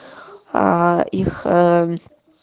аа их ээ